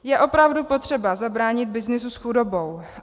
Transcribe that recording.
Je opravdu potřeba zabránit byznysu s chudobou.